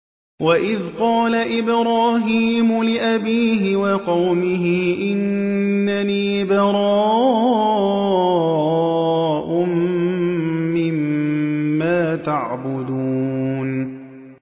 وَإِذْ قَالَ إِبْرَاهِيمُ لِأَبِيهِ وَقَوْمِهِ إِنَّنِي بَرَاءٌ مِّمَّا تَعْبُدُونَ